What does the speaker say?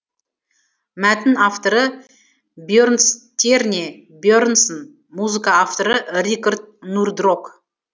мәтін авторы бьернстьерне бьернсон музыка авторы рикард нурдрок